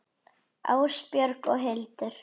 Ásbjörg og Hildur.